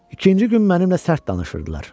İkinci gün mənimlə sərt danışırdılar.